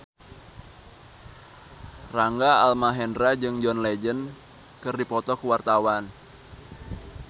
Rangga Almahendra jeung John Legend keur dipoto ku wartawan